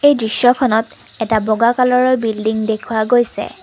দৃশ্যখনত এটা বগা কালাৰৰ বিল্ডিং দেখুওৱা গৈছে।